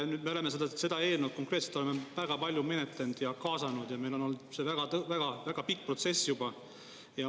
Nüüd me oleme seda eelnõu konkreetselt väga palju menetlenud ja kaasanud ja meil on olnud see väga-väga pikk protsess juba.